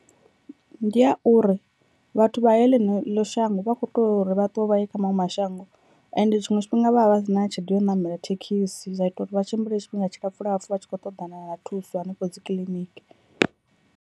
Ndi a uri vhathu vha heḽineḽo shango vha kho to uri vha ṱuwe vha ye kha maṅwe mashango, ende tshiṅwe tshifhinga vha vha vha si na tshelede ya u ṋamela thekhisi zwa ita uri vha tshimbile tshifhinga tshilapfhu lapfhu vha tshi khou ṱoḓana na thuso hanefho dzi kiḽiniki.